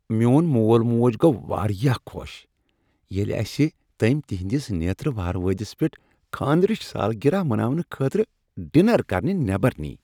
میٚون مول موج گوٚو واریاہ خوش ییٚلہ اسہ تٔمۍ تہنٛدِس نیترٕ ووہروٲدِس پیٹھ خانٛدرٕچ سالگرہ مناونہٕ خٲطرٕ ڈنر کرنہ نیبر نیہ۔